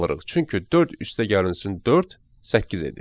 Çünki 4 + 4 8 edir.